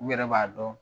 U yɛrɛ b'a dɔn